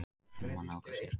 Skýrsluna má nálgast hér.